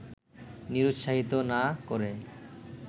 নিরুৎসাহিত না করে